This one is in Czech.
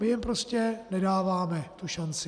My jim prostě nedáváme tu šanci.